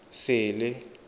sele